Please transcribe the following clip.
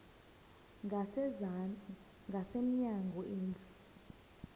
ngasezantsi ngasemnyango indlu